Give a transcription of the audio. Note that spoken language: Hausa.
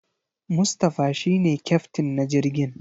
Mustapha shi ne kyaftin na jirgin.